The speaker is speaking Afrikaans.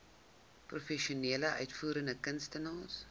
professionele uitvoerende kunstenaars